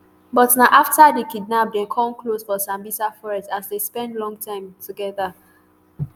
but na afta di kidnap dem kon close for sambisa forest as dem spend long time togeda